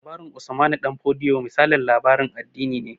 Labarin Usmanu Damfodiyo misalin labarin addini ne